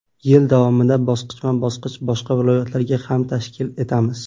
Yil davomida bosqichma-bosqich boshqa viloyatlarda ham tashkil etamiz.